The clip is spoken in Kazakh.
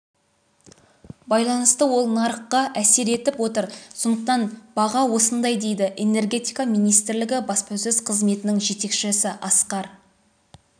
байланысты ол нарыққа әсер етіп отыр сондықтан баға осындай дейді энергетика министрлігі баспасөз қызметінің жетекшісіасқар